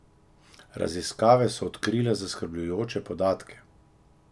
Raziskave so odkrile zaskrbljujoče podatke!